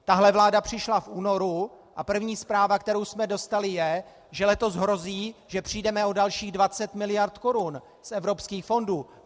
Tahle vláda přišla v únoru, a první zpráva, kterou jsme dostali, je, že letos hrozí, že přijdeme o dalších 20 mld. korun z evropských fondů.